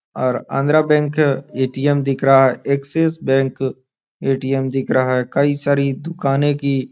और Andhra Bank ATM. दिख रहा है एक्सिस बैंक ए.टी.एम. दिख रहा है कई सारी दुकाने की --